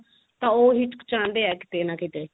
ਤਾਂ ਉਹ ਹਿਚਕਿਚਾਦੇ ਏ ਕੀਤੇ ਨਾ ਕੀਤੇ